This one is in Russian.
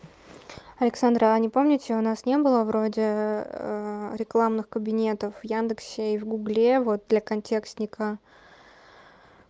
александра а не помните у нас не было вроде рекламных кабинетов в яндексе и в гугле вот для контекстника